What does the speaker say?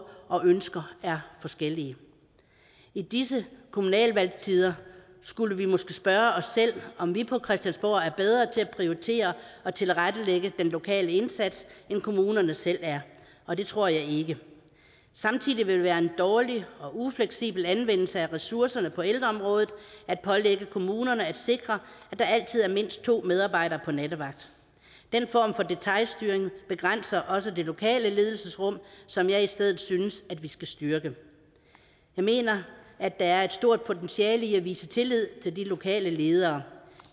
og ønsker er forskellige i disse kommunalvalgstider skulle vi måske spørge os selv om vi på christiansborg er bedre til at prioritere og tilrettelægge den lokale indsats end kommunerne selv er og det tror jeg ikke samtidig vil det være en dårlig og ufleksibel anvendelse af ressourcerne på ældreområdet at pålægge kommunerne at sikre at der altid er mindst to medarbejdere på nattevagt den form for detailstyring begrænser også det lokale ledelsesrum som jeg i stedet synes vi skal styrke jeg mener at der er et stort potentiale i at vise tillid til de lokale ledere